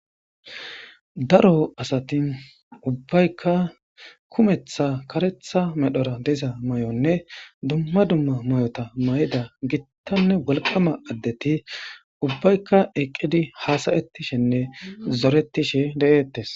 Daaro aasati ubbayka kummeththa kaareththa medhora diza maayonne dumma dumma maayotta maayda gittanne wolqqama addetti ubayka eqqidi haasayshshinne zorettishe deettess.